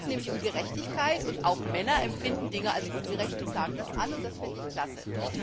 Es geht nämlich um Gerechtigkeit, und auch Männer empfinden Dinge als ungerecht und klagen das an, und das finde ich klasse.